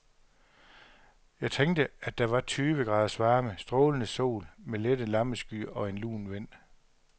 Jeg tænkte, at der var tyve graders varme, strålende sol med lette lammeskyer og en lun vind.